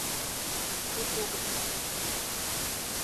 судогда